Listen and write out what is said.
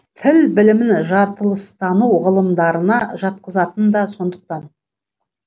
тіл білімін жартылыстану ғылымдарына жатқызатыны да сондықтан